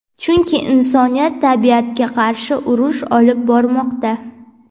chunki insoniyat tabiatga qarshi urush olib bormoqda.